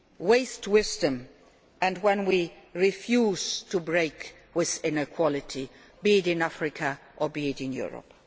when we waste wisdom, and when we refuse to break with inequality, be it in Africa or in Europe.